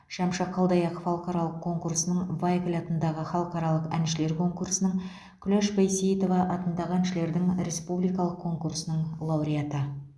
шәмші қалдаяқов халықаралық конкурсының вайкль атындағы халықаралық әншілер конкурсының күләш байсейітова атындағы әншілердің республикалық конкурсының лауреаты